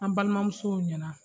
An balimamuso ɲɛna.